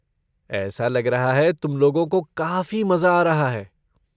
ऐसा लग रहा है कि तुम लोगों को काफ़ी मज़ा आ रहा है।